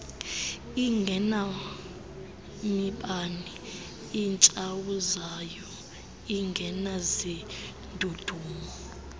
ingenamibane itshawuzayo ingenazindudumo